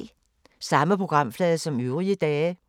Samme programflade som øvrige dage